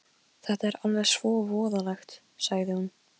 Jú, það var sá sem ég hélt að það væri!